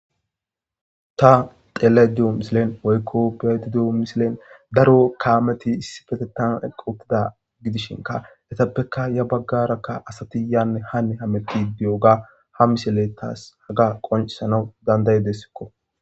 ta xele di7o misilen oykko pedidio misilen daro kaameti issifetetan eqqutida gidishinka etappeka ya baggarakka asati yaanne hane hametti diy7oga ha misile taas haga qoncisanaw danday desikko